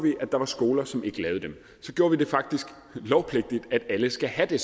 at der var skoler som ikke lavede dem så gjorde vi det faktisk lovpligtigt at alle skal have det